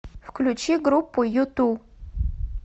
включи группу юту